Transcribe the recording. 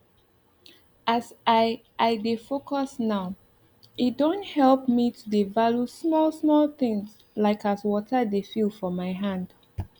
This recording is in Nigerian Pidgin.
as i i dey focus nowe don help me halt to dey value small small things like as water dey feel for my hand